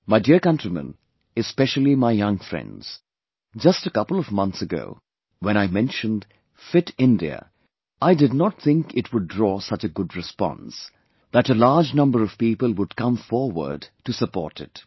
My dear countrymen, especially my young friends, just a couple of months ago, when I mentioned 'Fit India', I did not think it would draw such a good response; that a large number of people would come forward to support it